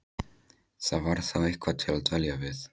Það var þá eitthvað til að dvelja við.